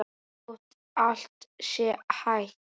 Þótt allt sé hætt?